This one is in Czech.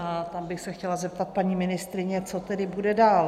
A tam bych se chtěla zeptat paní ministryně, co tedy bude dál.